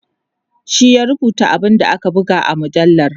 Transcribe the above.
shi ya rubuta abun da aka buga a mujallar